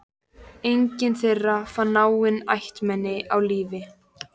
Enginn þeirra fann náin ættmenni á lífi.